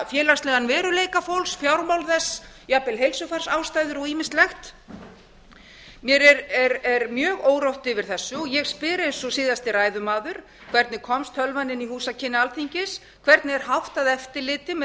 félagslegan veruleika fólks fjármál þess jafnvel heilsufarsástæður og ýmislegt mér er mjög órótt yfir þessu og ég spyr eins og síðasti ræðumaður hvernig komst tölvan inn í húsakynni alþingis hvernig er háttað eftirliti með